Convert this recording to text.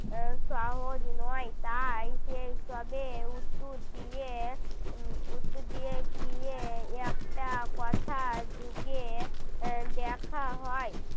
সহজ নয় তাই সেই সব এর উত্তর দিয়ে উত্তর দিয়ে গিয়ে একটা কথা যোগ দিয়ে দেখা হয়